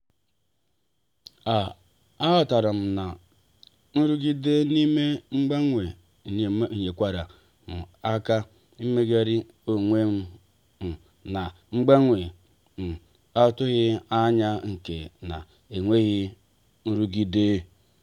a um ghotaram na inogide n'ime mgbanwe nyekwara m aka imeghari onwem um na mgbanwe um atughi anya nke na-enweghị nrụgide.